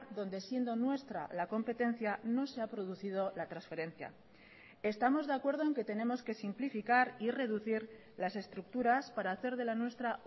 donde siendo nuestra la competencia no se ha producido la transferencia estamos de acuerdo en que tenemos que simplificar y reducir las estructuras para hacer de la nuestra